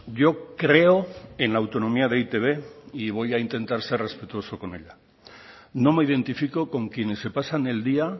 yo creo en la autonomía de e i te be y voy a intentar ser respetuoso con ella no me identifico con quienes se pasan el día